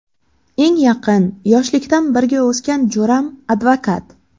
Eng yaqin, yoshlikdan birga o‘sgan jo‘ram advokat.